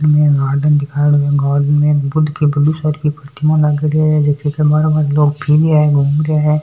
इमे एक गार्डन दिखायोडो है गार्डन में बुद्ध की बड़ी सारी प्रतीमा लागेड़ी है जकी के बारे लोग फिर रहिया है घूम रहिया है।